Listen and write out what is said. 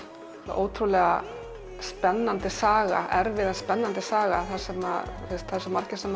ótrúlega spennandi saga erfið en spennandi saga þar sem svo margir